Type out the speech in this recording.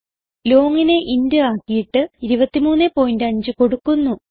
longനെ int ആക്കിയിട്ട് 235 കൊടുക്കുന്നു